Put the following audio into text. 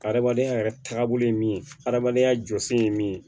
Ka hadamadenya yɛrɛ taagabolo ye min adamadenya jɔsen ye min ye